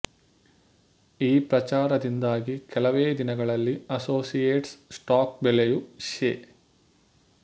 ಈ ಪ್ರಚಾರದಿಂದಾಗಿ ಕೆಲವೇ ದಿನಗಳಲ್ಲಿ ಅಸೋಸಿಯೇಟ್ಸ್ ಸ್ಟಾಕ್ ಬೆಲೆಯು ಶೇ